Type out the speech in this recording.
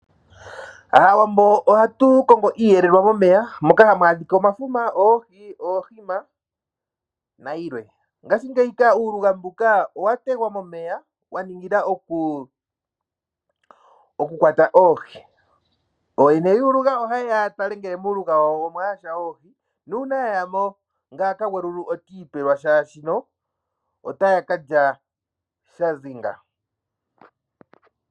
Aawambo ohatukongo iihelelwa momeya, moka hamu adhika omafuma, oohi, ohima nayilwe. Ngashi ngeyika uuluga mbuka owategwa momeya, waningila okukwata oohi. Oyene yuuluga ohayeya yatale ngele muuluga wawo omwayasha oohi. Nuuna ya yamo ngaaka gweyulu otiipewa shaashino otaakalya shadhongala.